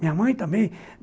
Minha mãe também.